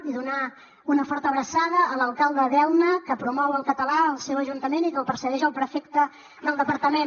i donar una forta abraçada a l’alcalde d’elna que promou el català al seu ajuntament i que el persegueix el prefecte del departament